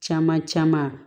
Caman caman